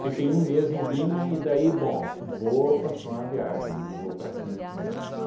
Fiquei um mês em Lima e daí, bom, v vou continuar a viagem, né, vou para Quito, né,